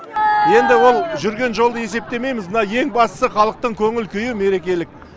енді ол жүрген жолды есептемейміз мына ең бастысы халықтың көңіл күйі мерекелік